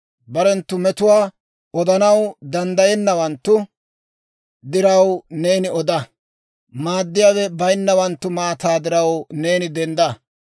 «Barenttu metuwaa odanaw danddayennawanttu diraw neeni oda; maaddiyaawe bayinnawanttu maataa diraw neeni dendda.